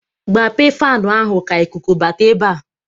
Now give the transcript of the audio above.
Gbape fanụ ahụ ka ikuku bata ebe a!